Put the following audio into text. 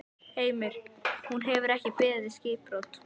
Heimir: Hún hefur ekki beðið skipbrot?